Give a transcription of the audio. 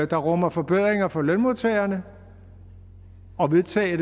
der rummer forbedringer for lønmodtagerne og vedtage